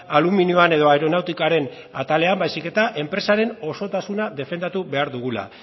aluminioan edo aeronautikaren atalean baizik eta enpresaren osotasuna defendatu behar dugula